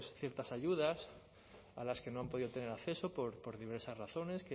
ciertas ayudas a las que no han podido tener acceso por diversas razones